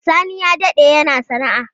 Sani ya dade yana sana'a.